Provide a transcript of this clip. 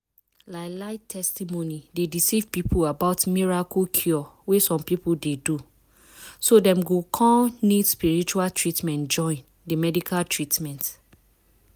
lie lie testimony dey decieve people about miracle cure wey some people dey do. so dem go con need use spiritual treatment join the medical treatment.